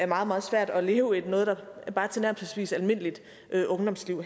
meget meget svært at leve noget der bare er et tilnærmelsesvis almindeligt ungdomsliv